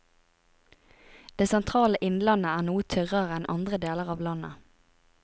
Det sentrale innlandet er noe tørrere enn andre deler av landet.